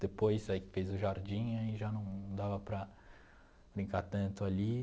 Depois aí que fez o jardim, aí já não dava para brincar tanto ali.